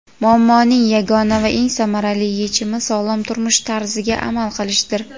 Muammoning yagona va eng samarali yechimi sog‘lom turmush tarziga amal qilishdir.